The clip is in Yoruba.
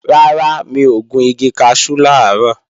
Rárá, mi ò gun igi kaṣú làárọ̀